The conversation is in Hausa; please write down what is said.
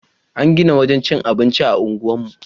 An gina wurin cikin abinci a unguwarmu.